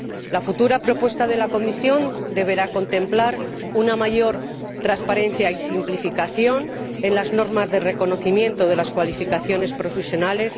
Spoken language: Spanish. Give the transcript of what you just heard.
La futura propuesta de la Comisión deberá contemplar una mayor transparencia y simplificación en las normas de reconocimiento de las cualificaciones profesionales